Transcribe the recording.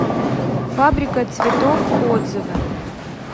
фабрика цветов отзывы